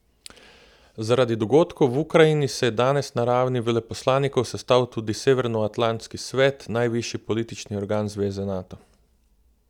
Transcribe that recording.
Zaradi dogodkov v Ukrajini se je danes na ravni veleposlanikov sestal tudi Severnoatlantski svet, najvišji politični organ zveze Nato.